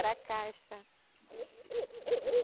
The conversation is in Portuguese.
Era caixa.